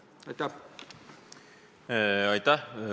Aitäh!